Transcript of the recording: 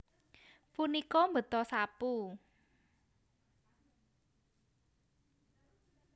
Punika mbeta sapu